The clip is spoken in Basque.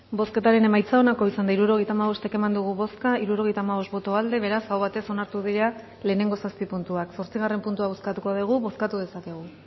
bozketaren emaitza onako izan da hirurogeita hamabost eman dugu bozka hirurogeita hamabost boto aldekoa beraz aho batez onartu dira lehenengo zazpi puntuak zortzigarren puntua bozkatuko dugu bozkatu dezakegu